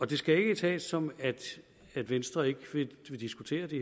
det skal ikke tages som at venstre ikke vil diskutere de